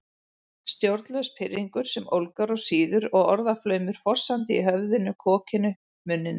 Stjórnlaus pirringur sem ólgar og sýður og orðaflaumur fossandi í höfðinu, kokinu, munninum